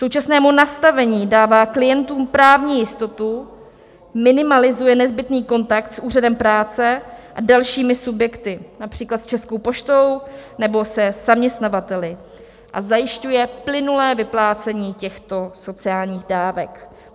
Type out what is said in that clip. Současné nastavení dává klientům právní jistotu, minimalizuje nezbytný kontakt s úřadem práce a dalšími subjekty, například s Českou poštou nebo se zaměstnavateli, a zajišťuje plynulé vyplácení těchto sociálních dávek.